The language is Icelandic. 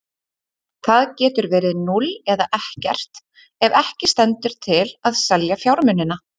Það getur verið núll eða ekkert ef ekki stendur til að selja fjármunina.